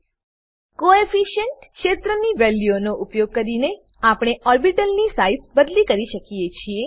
coefficient coefficient ક્ષેત્ર વેલ્યુનો ઉપયોગ કરીને આપણે ઓર્બીટલની સાઈઝ બદલી શકીએ છીએ